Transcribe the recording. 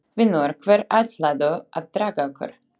Vinur, hvert ætlarðu að draga okkur?